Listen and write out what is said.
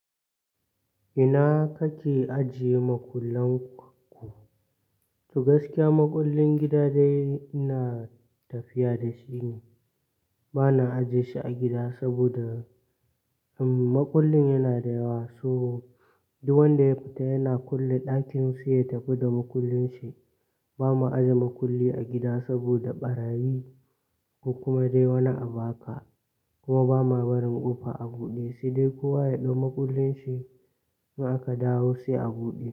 Ina kake ajiye makullan ku? To gaskiya makullin gida dai ina tafiya da shi ne. Ba na ajiye shi a gida saboda mm, makullin yana da yawa, so duk wanda ya fita yana kulle ɗakin sai ya tafi da makullin shi. Ba ma aje makulli a gida saboda ɓarayi kuma dai wani abu aka, kuma ba ma barin ƙofa a buɗe sai dai kowa ya ɗau makullin shi in aka dawo sai a buɗe.